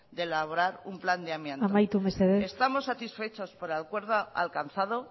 de elaborar un plan de amianto amaitu mesedez estamos satisfechos por el acuerdo alcanzado